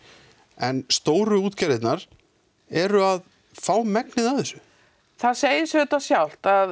en stóru útgerðirnar eru að fá megnið af þessu það segir sig auðvitað sjálft að